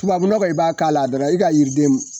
tubabu nɔgɔ i b'a k'a la dɔrɔn i ka yiriden